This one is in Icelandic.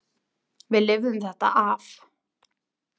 Við lifðum þetta af.